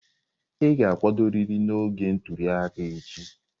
Ị ga-akwadorịrị n'oge ntuli aka echi!